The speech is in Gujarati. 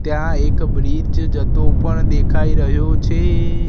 ત્યાં એક બ્રિજ જતો પણ દેખાય રહ્યો છે.